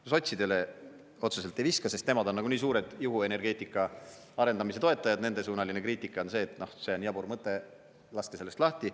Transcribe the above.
Ma sotsidele otseselt ei viska, sest nemad on nagunii suured juhuenergeetika arendamise toetajad, nendesuunaline kriitika on see, et see on jabur mõte, laske sellest lahti.